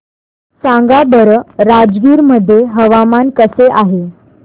सांगा बरं राजगीर मध्ये हवामान कसे आहे